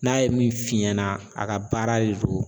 N'a ye min f'i ɲɛna a ka baara de do.